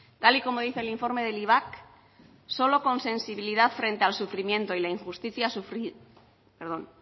tal y como dice el informe del ivac solo con sensibilidad frente al sufrimiento y la injusticia